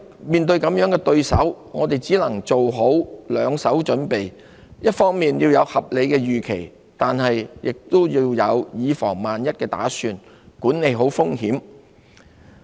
面對這樣的對手，我們只能做好兩手準備，一方面要有合理預期，但亦要有以防萬一的打算，管理好風險。